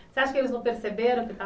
Você acha que eles não perceberam